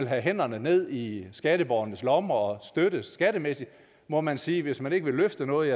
have hænderne ned i skatteborgernes lommer og støtte skattemæssigt må man sige at hvis man ikke vil løfte noget